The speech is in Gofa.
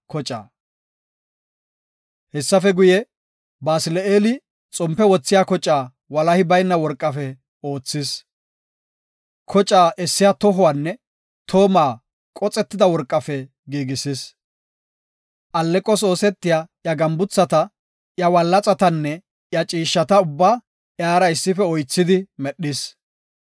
Hessafe guye, Basili7eeli xompe wothiya kocaa walahi bayna worqafe oothis. Kocaa essiya tohuwanne tooma qoxetida worqafe giigisis. Alleeqos oosetiya, iya gambuthata, iya wallaxatanne iya ciishshata ubbaa iyara issife oythidi medhis.